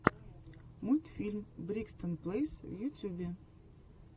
мультфильм бригсон плэйс в ютьюбе